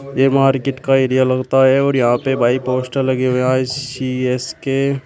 ये मार्केट का एरिया लगता है और यहां पे भाई पोस्टर लगे हुए हैं आई_सी_एस के।